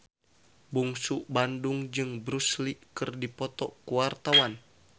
Bungsu Bandung jeung Bruce Lee keur dipoto ku wartawan